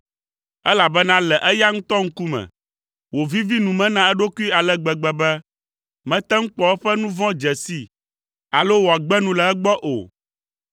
Elabena le eya ŋutɔ ŋkume, wòvivi nu me na eɖokui ale gbegbe be mete ŋu kpɔ eƒe nu vɔ̃ dze sii alo wòagbe nu le egbɔ o.